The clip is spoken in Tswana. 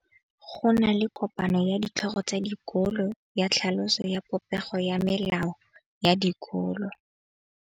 Go na le kopanô ya ditlhogo tsa dikolo ya tlhaloso ya popêgô ya melao ya dikolo.